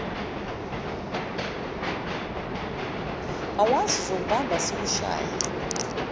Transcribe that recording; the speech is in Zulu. awazi ngizokubamba ngikushaye